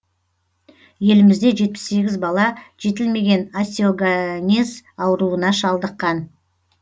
елімізде жетпіс сегіз бала жетілмеген остеогонез ауруына шалдыққан